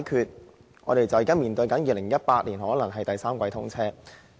現在，局長說目標是在2018年第三季通車。